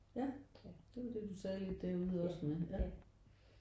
Ja det var det du sagde lidt derude også nu ja